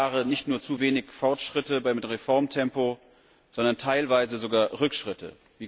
Drei Jahre nicht nur zu wenig Fortschritte beim Reformtempo, sondern teilweise sogar Rückschritte.